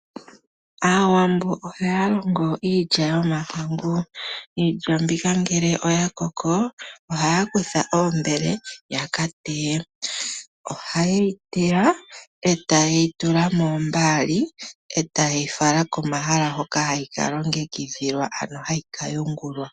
Aawambo ohaya longo iilya yomohangu. Iilya mbika ngele yakoko ohaya kutha oombele yaka teye. Ohaye yi teya eta yeyi tula moombali , eta yeyi fala komahala hoka hayi kalongekidhilwa ano hayi kayungulwa.